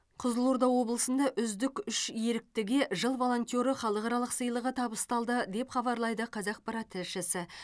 қызылорда облысында үздік үш еріктіге жыл волонтеры халықаралық сыйлығы табысталды деп хабарлайды қазақпарат тілшісі